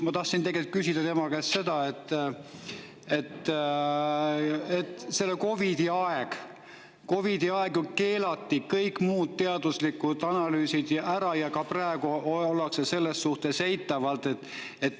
Ma tahtsin tegelt küsida tema käest selle kohta, et COVID-i ajal ju keelati kõik muud teaduslikud analüüsid ära ja ka praegu ollakse selles suhtes eitavad.